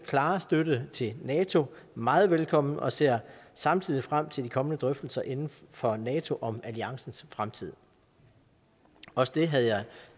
klare støtte til nato meget velkommen og ser samtidig frem til de kommende drøftelser inden for nato om alliancens fremtid også det havde jeg